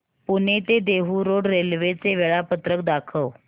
पुणे ते Dehu road railway चे वेळापत्रक दाखव